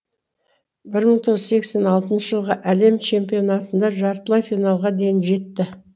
бір мың тоғыз жүз сексен алтыншы жылғы әлем чемпионатында жартылай финалға дейін жетті